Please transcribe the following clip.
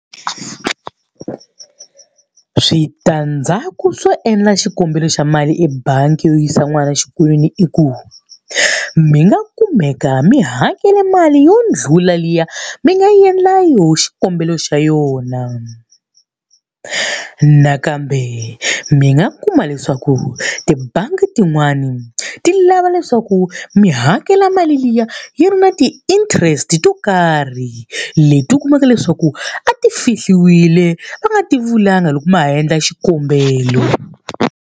Switandzhaku swo endla xikombelo xa mali ebangi yo yisa n'wana exikolweni i ku, mi nga kumeka mi hakela mali yo ndlula liya mi nga endla yona xikombelo xa yona. Nakambe mi nga kuma leswaku tibangi tin'wani ti lava leswaku mi hakela mali liya yi ri na ti-interest to karhi, leti u kumaka leswaku a ti fihliwile a va nga ti vulanga loko ma ha endla xikombelo.